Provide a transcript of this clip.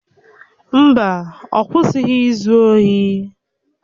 Mba, ọ kwụsịghị izu ohi